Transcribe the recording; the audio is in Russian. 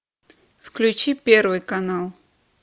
включи первый канал